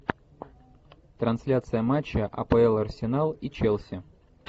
трансляция матча апл арсенал и челси